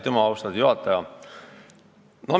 Aitüma, austatud juhataja!